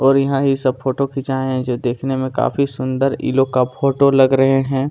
और यहाँ ये सब फोटो खींचाये है जो देखने में काफी सुंदर इ लोग का फोटो लग रहै हैं।